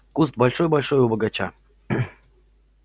куст большой-большой у бочага